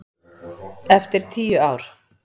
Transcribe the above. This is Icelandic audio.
Eftir tíu ár.